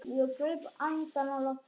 Ég greip andann á lofti.